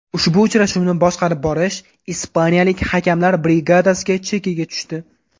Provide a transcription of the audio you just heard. Ushbu uchrashuvni boshqarib borish ispaniyalik hakamlar brigadasi chekiga tushdi.